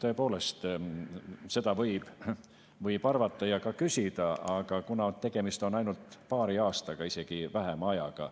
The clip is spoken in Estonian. Tõepoolest, seda võib arvata ja ka küsida, aga kuna tegemist on ainult paari aastaga, isegi vähema ajaga,